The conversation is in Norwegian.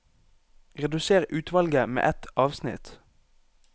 Redusér utvalget med ett avsnitt